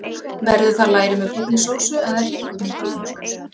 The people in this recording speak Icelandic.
Verður það læri með brúnni sósu, eða hryggur með brúnni sósu?